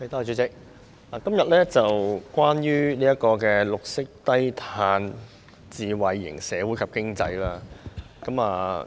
代理主席，今天討論的是關於綠色低碳智慧型社會及經濟。